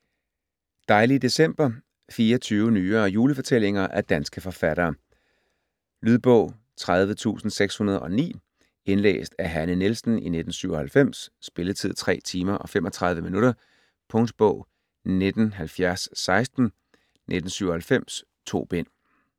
Dejlige december 24 nyere julefortællinger af danske forfattere. Lydbog 30609 Indlæst af Hanne Nielsen, 1997. Spilletid: 3 timer, 35 minutter. Punktbog 197016 1997.2 bind.